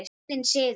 Heiðinn siður